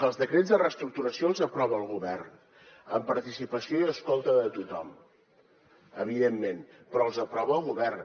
els decrets de reestructuració els aprova el govern amb participació i escolta de tothom evidentment però els aprova el govern